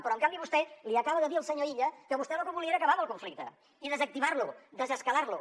però en canvi vostè li acaba de dir al senyor illa que vostè lo que volia era acabar amb el conflicte i desactivar lo desescalar lo